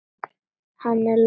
Er hann Lási dáinn?